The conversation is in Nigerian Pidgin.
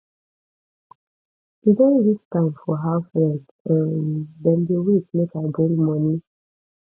e don reach time for house rent um dem dey wait make i bring moni